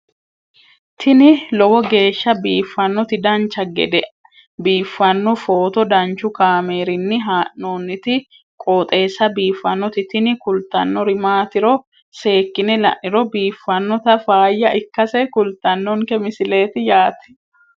tini lowo geeshsha biiffannoti dancha gede biiffanno footo danchu kaameerinni haa'noonniti qooxeessa biiffannoti tini kultannori maatiro seekkine la'niro biiffannota faayya ikkase kultannoke misileeti yaate